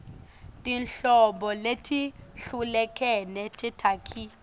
tinhlobo letehlukene tetakhi